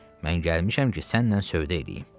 Mən gəlmişəm ki sənlə sövdə eləyim.